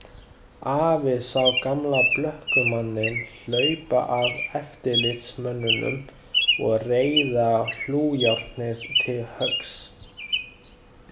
Afi sá gamla blökkumanninn hlaupa að eftirlitsmönnunum og reiða hlújárnið til höggs.